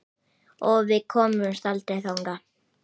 Og við komumst aldrei þangað.